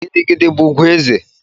Gidi gidi bụ ùgwù ezé.